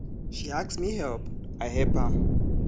she ask me help i help am